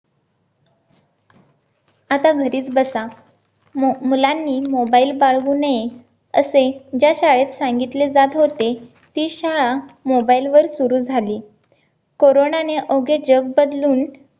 आता घरीच बसा मुलांनी mobile बाळगू नये असे ज्या शाळेत सांगितले जात होते ती शाळा mobile वर सुरू झाली कोरोना ने अवघे जग बदलून